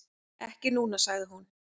"""Ekki núna, sagði hún."""